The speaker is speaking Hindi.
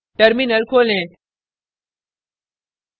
terminal खोलें